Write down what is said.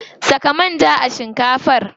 Saka manja a shinkafar.